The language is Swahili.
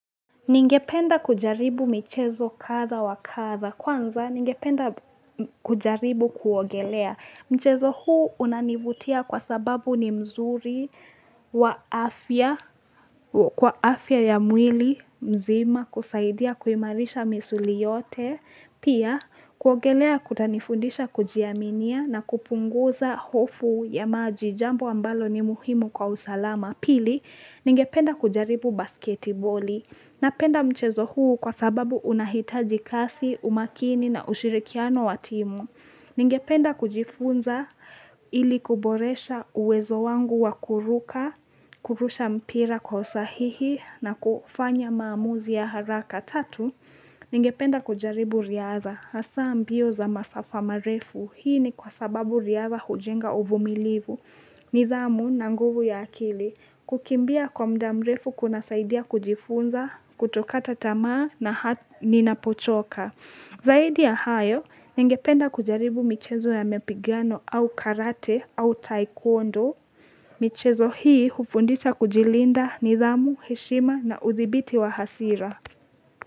Ningependa kujaribu michezo kadha wa kadha. Kwanza, ningependa kujaribu kuogelea. Mchezo huu unanivutia kwa sababu ni mzuri wa wa afya ya mwili mzima kusaidia kuimarisha misuli yote. Pia, kuogelea kunanifundisha kujiaminia na kupunguza hofu ya maji jambo ambalo ni muhimu kwa usalama. Pili, ningependa kujaribu basketiboli. Napenda mchezo huu kwa sababu unahitaji kasi, umakini na ushirikiano wa timu. Ningependa kujifunza ili kuboresha uwezo wangu wa kuruka, kurusha mpira kwa usahihi na kufanya maamuzi ya haraka. Tatu, ningependa kujaribu riadha, hasa mbio za masafa marefu, hii ni kwa sababu riadha hujenga uvumilivu, nidhamu na nguvu ya akili, kukimbia kwa mda mrefu kunasaidia kujifunza, kutokata tamaa na hata ninapochoka. Zaidi ya hayo, ningependa kujaribu michezo ya mapigano au karate au taekwondo. Michezo hii hufundisha kujilinda nidhamu, heshima na uthibiti wa hasira.